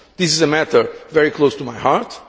This is a matter very close to my heart.